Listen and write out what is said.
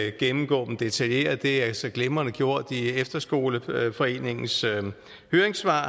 ikke gennemgå dem detaljeret det er så glimrende gjort i efterskoleforeningens høringssvar